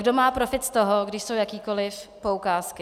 Kdo má profit z toho, když jsou jakékoliv poukázky.